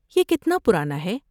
یہ کتنا پرانا ہے؟